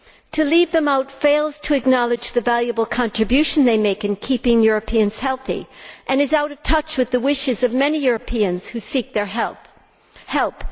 To leave them out fails to acknowledge the valuable contribution they make in keeping Europeans healthy and is out of touch with the wishes of many Europeans who seek their help.